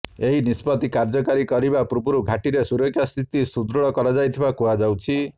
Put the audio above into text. ଏହି ନିଷ୍ପତ୍ତି କାର୍ଯ୍ୟକାରୀ କରିବା ପୂର୍ବରୁ ଘାଟିରେ ସୁରକ୍ଷା ସ୍ଥିତି ସୁଦୃଢ଼ କରାଯାଇଥିବା କୁହାଯାଉଛି